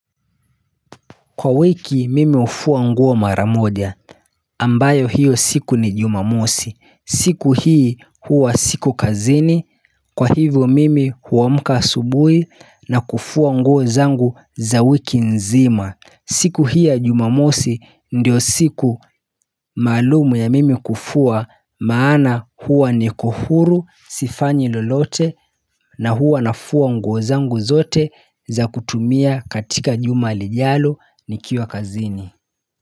Kwa wiki mimi hufua nguo maramoja, ambayo hiyo siku ni jumamosi, siku hii huwa siko kazini, kwa hivyo mimi huamka asubuhi na kufua nguo zangu za wiki nzima siku hii ya jumamosi ndiyo siku maalumu ya mimi kufua maana huwa niko huru sifanyi lolote na huwa nafua nguozangu zote za kutumia katika jumalijalo ni kiwa kazini.